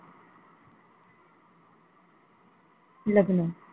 लग्न